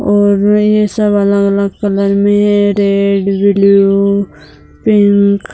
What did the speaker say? और ये सब अलग-अलग कलर में हैं रेड ब्लू पिंक --